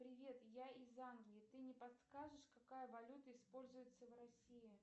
привет я из англии ты не подскажешь какая валюта используется в россии